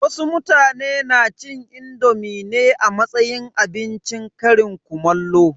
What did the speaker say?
Wasu mutane na cin indomi ne a matsayin abincin ƙarin kumallo.